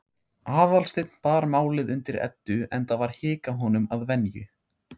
Aðalsteinn bar málið undir Eddu, enda var hik á honum að venju.